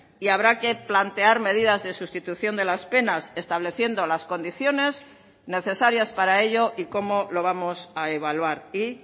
y habrá que plantear medidas de sustitución de las penas estableciendo las condiciones necesarias para ello y cómo lo vamos a evaluar y